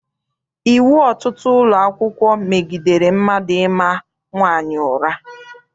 Iwu ọtụtụ ụlọakwụkwọ megidere mmadụ ịma nwaanyị ụra.